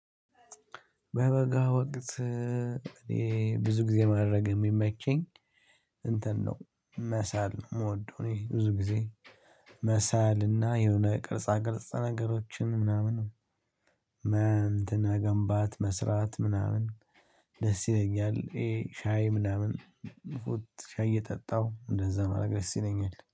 በበጋ ወቅት እኔ ብዙ ጊዜ ማድረግ የሚመቸኝ እንትን ነው። መሳል ነው ምወደው እኔ ብዙ ጊዜ መሳልና የሆነ ቅርጽ ቅርጽ ነገሮችን ምናምን። መ እንትን መገንባት መስራት ምናምን ደስ ይለኛል። ይሄ ሻይ ምናምን ቩት ሻይ እየጠጣው እንደዛ ማረግ ደስ ይለኛል